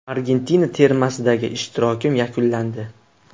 Argentina termasidagi ishtirokim yakunlandi.